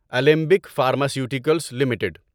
Alembic pharmaceuticals limited